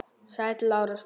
Sæll, Lárus minn.